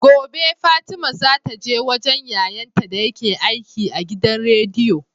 Gobe fatima zata je wajan yayan ta dayake aiki a gidan rediyo